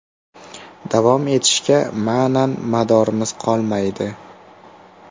Davom etishga ma’nan madoringiz qolmaydi.